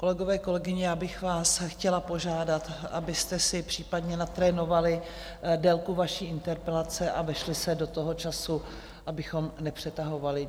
Kolegové, kolegyně, já bych vás chtěla požádat, abyste si případně natrénovali délku vaší interpelace a vešli se do toho času, abychom nepřetahovali.